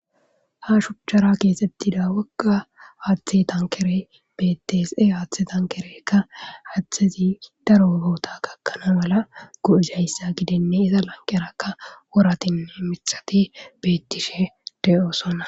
Ha shuchchara keesettida wokka aaththe tankere bettees e haaththe tankerekka haththezi daro oboota gakkana mala gu'uzayssa gidinne iza lanqerakka woratinne mixati beettishe deyosonna.